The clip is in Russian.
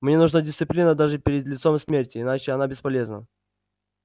мне нужна дисциплина даже перед лицом смерти иначе она бесполезна